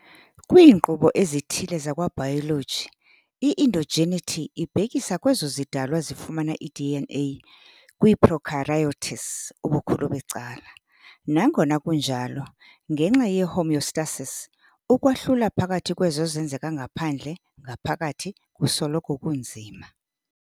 Kwiinkqubo ezithile zakwa-biology, i-endogeneity ibhekisa kwezo zidalwa zifumana i-DNA, kwii-prokaryotes ubukhulu becala. Ngangona kunjalo, ngenxa ye-homeostasis, ukwahlula phakathi kwezo zenzeka ngaphandle ngaphakathi kusoloko kunzima.